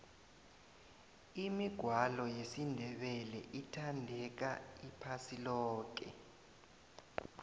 imigwalo yesindebele ithandeka iphasi loke